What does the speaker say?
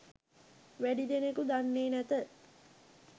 වැඩි දෙනෙකු දන්නේ නැත